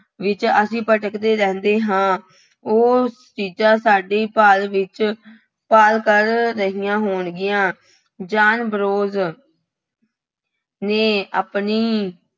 ਵਿੱਚ ਅਸੀੰ ਭਟਕਦੇ ਰਹਿੰਦੇ ਹਾਂ। ਉਹ ਚੀਜ਼ਾਂ ਸਾਡੀ ਭਾਲ ਵਿੱਚ, ਭਾਲ ਕਰ ਰਹੀਆਂ ਹੋਣਗੀਆਂ। ਜਾਹਨ ਬਰੋਜ਼ ਨੇ ਆਪਣੀ